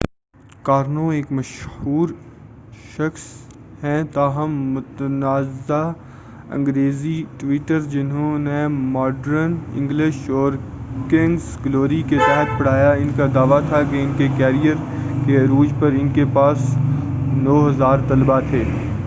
Karnaugh ایک مشہور شخص ہیں تاہم متنازع انگریزی ٹیوٹر جنھوں نے ماڈرن انگلش اور کنگس گلوری کے تحت پڑھایا ان کا دعوی تھا کہ ان کے کیرئر کے عروج پر ان کے پاس 9000 طلباء تھے